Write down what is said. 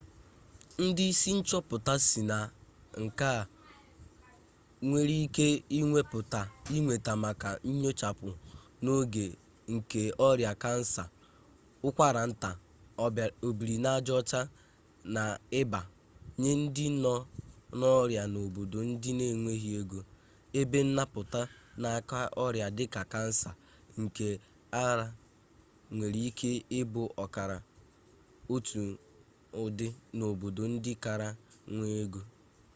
ndị isi nchọpụta sị na nke a nwere ike iweta maka nnyochapụta n'oge nke ọrịa kansa ụkwara nta obiri n'aja ọcha na ịba nye ndị nọ n'ọrịa n'obodo ndị n'enweghị ego ebe nnapụta n'aka ọrịa dịka kansa nke ara nwere ike ịbụ ọkara otu ọdị n'obodo ndị kara nwee ego